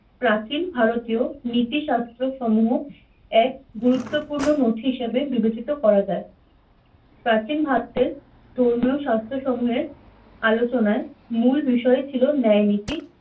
প্রাচীন ভারতীয় নীতি শাস্ত্র সমূহ এক গুরুত্বপূর্ণ নথি হিসাবে বিবেচিত করা যায় প্রাচীন ভারতের ধর্মীয় স্বাস্থ্য সমূহের আলোচনায় মূল বিষয় ছিল ন্যায় নীতি।